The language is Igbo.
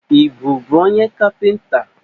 Ị bụbu onye kapịnta?